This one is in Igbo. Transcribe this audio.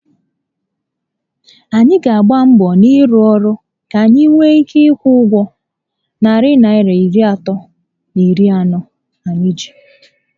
Anyị gbàrà mbọ n'ịrụ ọrụ ka anyi were nwee ike ikwụ ụgwọ narị Naịra iri atọ na iri anọ anyị ji